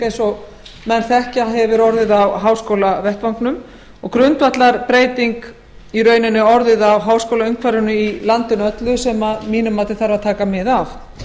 eins og menn þekkja hefur orðið nokkuð mikil breyting á háskólavettvangnum og grundvallarbreyting í rauninni orðið á háskólaumhverfinu í landinu öllu sem að mínu mati þarf að taka mið af